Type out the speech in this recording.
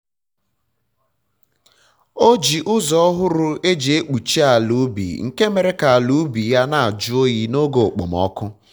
o ji ụzọ ọhụrụ eji ekpuchi ala ubi nke mere ka ala ubi ya na ajụ oyi n'oge okpomọkụ